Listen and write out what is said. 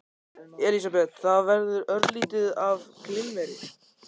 Elísabet: Það verður örlítið af glimmeri?